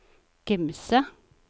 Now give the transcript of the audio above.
Gimse